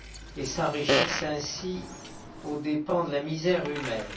et qui s'enrichissent ainsi aux dépens de la misère humaine.